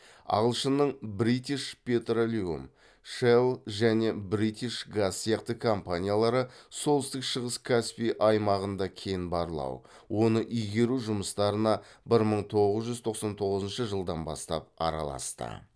ағылшынның бритиш петролеум шелл және бритиш газ сияқты компаниялары солтүстік шығыс каспий аймағында кен барлау оны игеру жұмыстарына бір мың тоғыз жүз тоқсан тоғызыншы жылдан бастап араласты